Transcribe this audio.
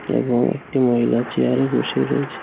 এবং একটি মহিলা চেয়ারে বসে রয়েছে.